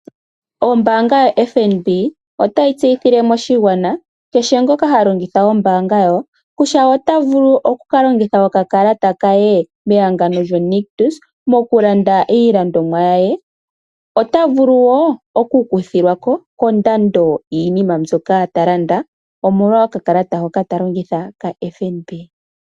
Ombaanga yaFNB otayi tseyithile oshigwana kutya kehe ngoka ha longitha ombaanga yawo ota vulu oku ka longitha okakalata ke mositola yoNictus okulanda iilandomwa ye. Ota vulu wo okukuthilwa ko kondando yiinima mbyoka ta landa omolwa okakalata hoka ta longitha kaFNB.